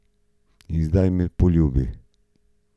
In zdaj me poljubi!